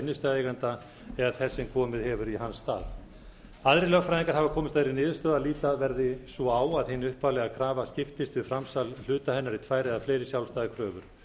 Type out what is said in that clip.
innstæðueiganda eða þess sem komið hefur í hans stað aðrir lögfræðingar hafa komist að þeirri niðurstöðu að líta verði svo á að hin upphaflega krafa skiptist við framsal hluta hennar í tvær eða fleiri sjálfstæðar kröfur